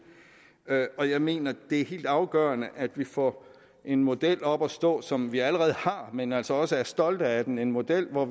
og jeg mener det er helt afgørende at vi får en model op at stå som vi allerede har men at vi altså også er stolte af den en model hvor